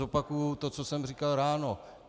Zopakuji to, co jsem říkal ráno.